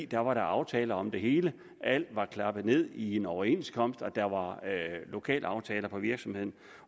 der var aftaler om det hele alt var klappet ned i en overenskomst og der var lokalaftaler på virksomheden